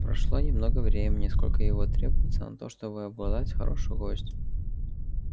прошло немного времени сколько его требуется на то чтобы обглодать хорошую кость